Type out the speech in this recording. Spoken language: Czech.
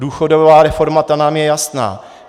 Důchodová reforma nám je jasná.